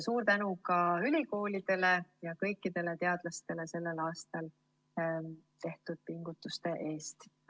Suur tänu ka ülikoolidele ja kõikidele teadlastele sellel aastal tehtud pingutuste eest!